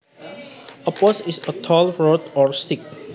A post is a tall rod or stick